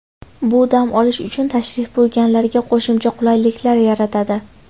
Bu dam olish uchun tashrif buyurganlarga qo‘shimcha qulayliklar yaratadi.